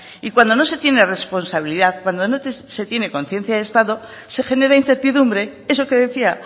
y cuando no se tiene responsabilidad cuando no se tiene conciencia de estado se genera incertidumbre eso que decía